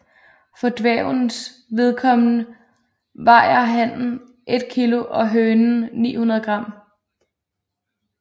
For dværgenes vedkommende vejer hanen 1 kg og hønen 900 gram